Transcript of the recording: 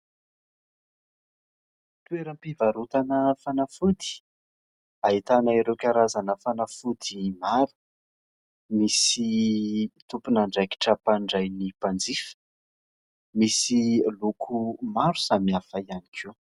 Toeram-pivarotana fanafody ahitana ireo karazana fanafody maro, misy tompon'andraikitra mpandray ny mpanjifa, misy loko maro samihafa ihany koa.